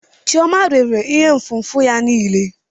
Chioma rere ihe nfụfu ya niile.